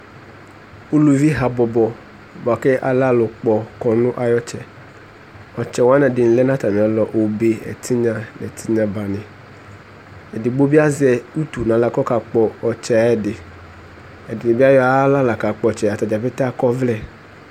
uluvi habɔbɔ boa ko alɛ alo kpɔ kɔno ayi ɔtsɛ ɔtsɛ wani ɛdi lɛ no atami alɔ obe ɛtinya no ɛtinya blamɛ edigbo bi azɛ utu no ala ko ɔka kpɔ ɔtsɛ ɛdi ɛdi bi ayɔ ayi ala la kakpɔ ɔtsɛ atadza ƒete akɔ ɔvlɛ